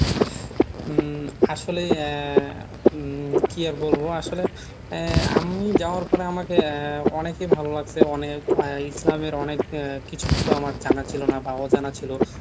হম আসলেই আহ হম কি আর বলবো আসলে আহ আমি যাওয়ার পরে আমাকে আহ অনেকেই ভালো লাগছে অনেক ইসলামের অনেক কিছু format জানা ছিল না বা অজানা ছিল